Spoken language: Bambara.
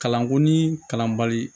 Kalanko ni kalanbali